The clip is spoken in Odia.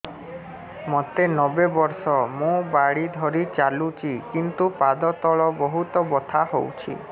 ମୋତେ ନବେ ବର୍ଷ ମୁ ବାଡ଼ି ଧରି ଚାଲୁଚି କିନ୍ତୁ ପାଦ ତଳ ବହୁତ ବଥା ହଉଛି